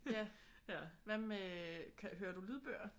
Ja. Hvad med hører du lydbøger?